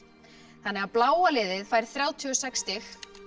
þannig að bláa liðið fær þrjátíu og sex stig